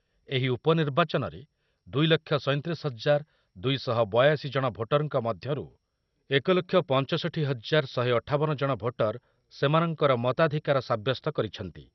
ଏହି ଉପନିର୍ବାଚନରେ ଦୁଇଲକ୍ଷ ସୈଂତିରିଶି ହଜାର ଦୁଇ ଶହ ବୟାଅଶି ଜଣ ଭୋଟରଙ୍କ ମଧ୍ୟରୁ ଏକ ଲକ୍ଷ ପଞ୍ଚଷଠି ହଜାର ଶହେ ଅଠାବନ ଜଣ ଭୋଟର ସେମାନଙ୍କର ମତାଧିକାର ସାବ୍ୟସ୍ତ କରିଛନ୍ତି।